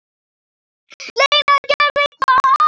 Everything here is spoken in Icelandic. Lena: Gerði hvað?